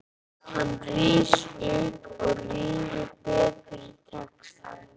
Hann rís upp og rýnir betur í textann.